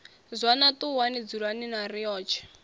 zwana ṱuwani dzulani na riotshe